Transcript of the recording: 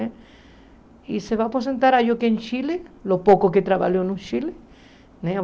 E se vai aposentar acho que em Chile, os poucos que trabalhou no Chile né.